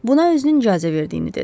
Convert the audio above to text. Buna özünün icazə verdiyini dedi.